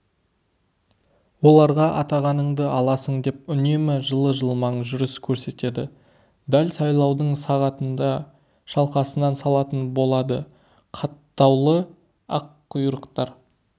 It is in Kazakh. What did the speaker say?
оларға атағаныңды аласың деп үнемі жылы-жылмаң жүріс көрсетеді дәл сайлаудың сағатында шалқасынан салатын болады қаттаулы аққұйрықтар